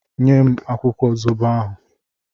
Nye m akwụkwọ zobo ahụ!